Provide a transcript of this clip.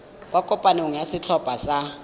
kwa kopanong ya setlhopha sa